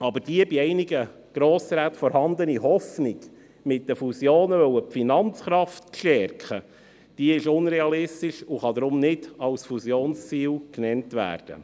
Aber die, bei einigen Grossräten vorhandene Hoffnung, mit den Fusionen die Finanzkraft stärken zu wollen, ist unrealistisch und kann deshalb nicht als Fusionsziel genannt werden.